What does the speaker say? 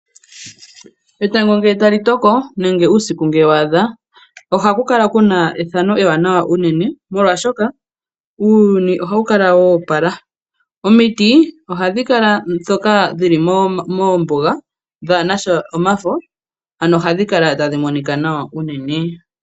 Etango ngele tali toko nenge uusiku ngele waadha oha ku kala kuna ethano ewanawa unene molwashoka uuyuni oha wu kala woopala omiti oha dhi kala ndhoka dhi li moombuga dhaa nasha omafo ano oha dhi kala tadhi monika nawa unene.